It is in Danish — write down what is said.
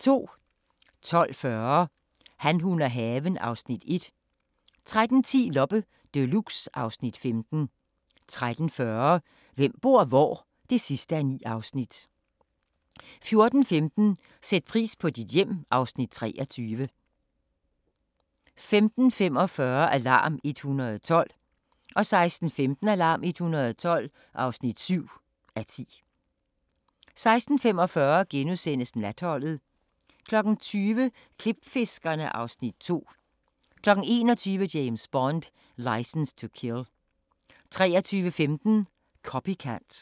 12:40: Han, hun og haven (Afs. 1) 13:10: Loppe Deluxe (Afs. 15) 13:40: Hvem bor hvor? (9:9) 14:15: Sæt pris på dit hjem (Afs. 23) 15:45: Alarm 112 16:15: Alarm 112 (7:10) 16:45: Natholdet * 20:00: Klipfiskerne (Afs. 2) 21:00: James Bond: License to Kill 23:15: Copycat